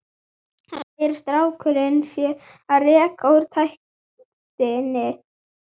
Hann segir að strákurinn sé að reka úr ræktinni.